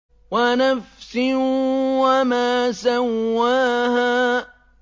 وَنَفْسٍ وَمَا سَوَّاهَا